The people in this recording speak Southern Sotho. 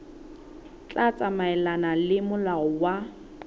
tla tsamaelana le molao wa